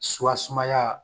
Suwa sumaya